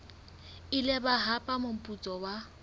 ile ba hapa moputso wa